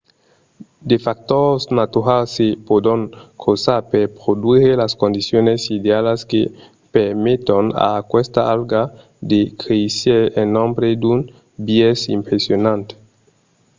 de factors naturals se pòdon crosar per produire las condicions idealas que permeton a aquesta alga de créisser en nombre d'un biais impressionant